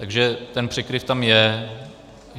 Takže ten překryv tam je.